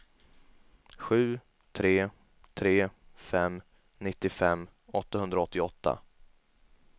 sju tre tre fem nittiofem åttahundraåttioåtta